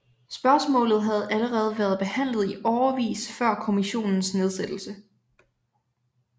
Spørgsmålet havde allerede været behandlet i årevis før kommissionens nedsættelse